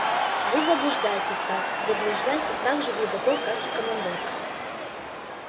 вы заблуждаетесь сатт заблуждаетесь так же глубоко как и командор